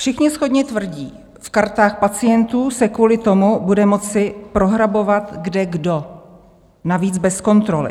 Všichni shodně tvrdí: v kartách pacientů se kvůli tomu bude moci prohrabovat kdekdo, navíc bez kontroly.